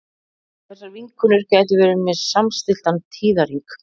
þessar vinkonur gætu verið með samstilltan tíðahring